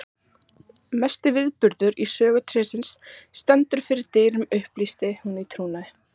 Mesti viðburður í sögu trésins stendur fyrir dyrum upplýsti hún í trúnaði.